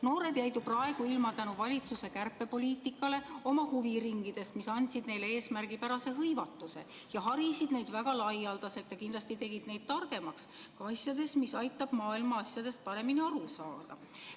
Noored jäid ju praegu valitsuse kärpepoliitika tõttu ilma oma huviringidest, mis andsid neile eesmärgipärase hõivatuse, harisid neid väga laialdaselt ja kindlasti tegid neid targemaks ka asjades, mis aitavad maailma asjadest paremini aru saada.